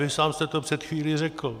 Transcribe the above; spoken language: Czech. Vy sám jste to před chvílí řekl.